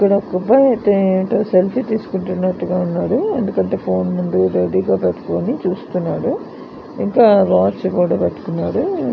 ఇక్కడ ఒక అబ్బాయి సెల్ఫీ తీస్కుంటున్నాడు. ఎందుకంటె ఫోన్ రెడీ గ పెట్టుకొని చూస్తున్నాడు. ఇంకా వాచ్ కూడా పెట్టుకున్నాడు.